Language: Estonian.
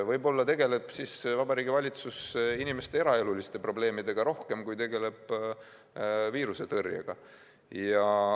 Võib-olla tegeleb siis Vabariigi Valitsus inimeste eraeluliste probleemidega rohkem kui viirusetõrjega.